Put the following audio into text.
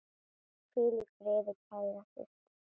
Hvíl í friði, kæra systir.